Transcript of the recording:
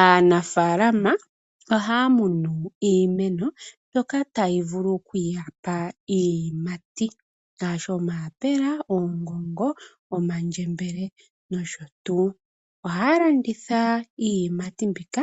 Aanafaalama ohaya munu iimeno mbyoka tayi vulu okuyapa iiyimati, ngaashi omayaapela, oongongo, omandjembele nosho tuu. Ohaya landitha iiyimati mbika